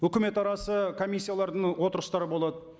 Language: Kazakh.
өкімет арасы комиссиялардың отырыстары болады